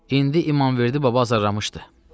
“İndi İmamverdi baba azarlamışdı.”